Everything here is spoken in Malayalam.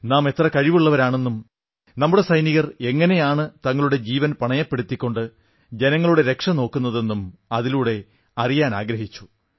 നാം എത്ര കഴിവുള്ളവരാണെന്നും നമ്മുടെ സൈനികർ എങ്ങനെയാണ് തങ്ങളുടെ ജീവൻ പണയപ്പെടുത്തിക്കൊണ്ട് ജനങ്ങളുടെ രക്ഷനോക്കുന്നതെന്നും അതിലൂടെ അറിയിക്കാനാഗ്രഹിച്ചു